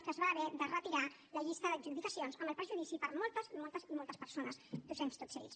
que es va haver de retirar la llista d’adjudicacions amb el perjudici per a moltes moltes persones docents totes elles